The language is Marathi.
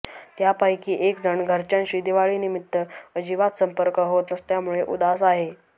त्यापैकी एकजण घरच्यांशी दिवाळीनिमित्त अजिबात संपर्क होत नसल्यामुळे उदास आहे